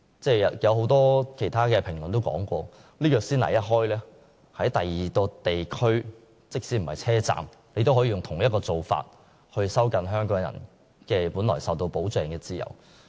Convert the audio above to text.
很多評論也指出，先例一開，在車站以外的其他地區也可實施相同做法，藉以收緊香港人本來受到保障的自由。